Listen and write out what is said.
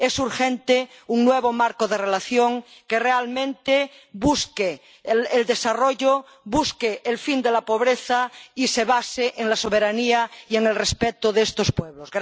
Es urgente un nuevo marco de relación que realmente busque el desarrollo, busque el fin de la pobreza y se base en la soberanía y en el respeto de estos pueblos.